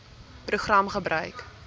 program gebruik